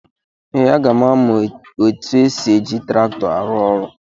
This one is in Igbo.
Ee, aga m amụ etu esi eji traktọ arụ ọrụ.